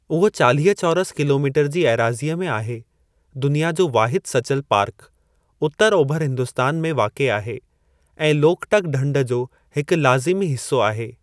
उहो चालीह चौरस किलोमीटर जी एराज़ीअ में आहे, दुनिया जो वाहिदु सचल पार्क, उतरु ओभर हिन्दुस्तान में वाक़िए आहे, ऐं लोकटक ढंढ जो हिकु लाज़िमी हिसो आहे।